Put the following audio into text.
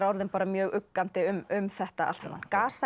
orðin mjög uggandi um þetta allt saman